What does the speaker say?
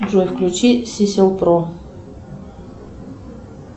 джой включи сисел про